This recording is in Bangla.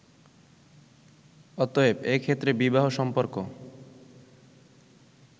অতএব, এ ক্ষেত্রে বিবাহ-সম্পর্ক